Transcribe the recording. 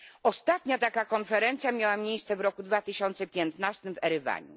Ostatnia taka konferencja miała miejsce w roku 2015 w Erywaniu.